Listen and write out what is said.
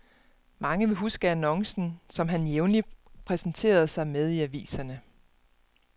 Mange vil huske annoncen, som han jævnligt præsenterede sig med i aviserne.